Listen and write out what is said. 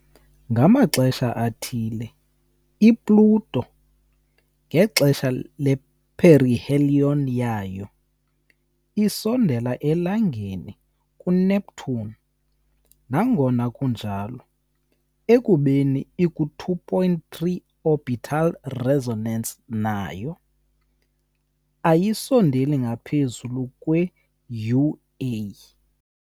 Ngamaxesha athile i-Pluto, ngexesha le-perihelion yayo, isondela eLangeni kuneNeptune, nangona kunjalo, ekubeni iku-2-3 orbital resonance nayo, ayisondeli ngaphezu kwe UA.